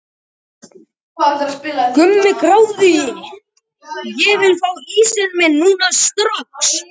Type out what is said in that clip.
Ég tók hann út úr liðinu því að ég taldi að við þyrftum öðruvísi gæði.